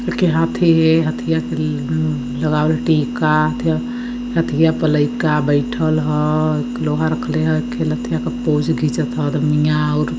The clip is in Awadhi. ऐगे हाथी है हथिया के लगावल टिका | हथिया हथिया पे लइका बइठल हँ| ऐगे लोहा रखले ह ऐगे पोच्छ खीचत ह अदिमिया और --